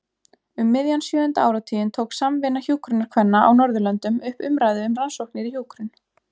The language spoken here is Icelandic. Um miðjan sjöunda áratuginn tók Samvinna hjúkrunarkvenna á Norðurlöndunum upp umræðu um rannsóknir í hjúkrun.